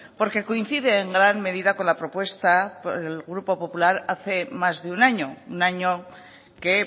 porque coincide en gran medida con la propuesta por el grupo popular hace más de un año un año que